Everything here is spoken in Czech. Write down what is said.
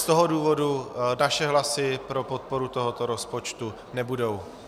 Z toho důvodu naše hlasy pro podporu tohoto rozpočtu nebudou.